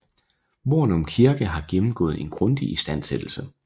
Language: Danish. Hvornum Kirke har gennemgået en grundig istandsættelse